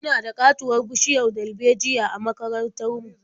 Muna da ƙatuwar bishiyar darbejiya a makarantar mu.